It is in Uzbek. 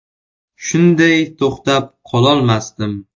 Shunday to‘xtab qololmasdim.